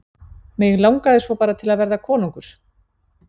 Mig langaði svo bara til að verða konungur.